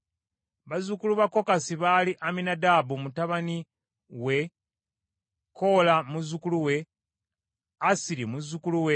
Bazzukulu ba Kokasi baali Amminadaabu mutabani we, Koola muzzukulu we, Assiri muzzukulu we;